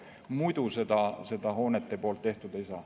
Muidu seda hoonete poolt tehtud ei saa.